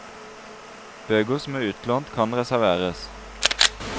Bøker som er utlånt kan reserveres.